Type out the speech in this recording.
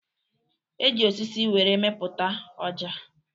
E ji osisi were mepụta Ọja.